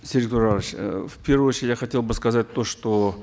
серик турарович э в первую очередь я хотел бы сказать то что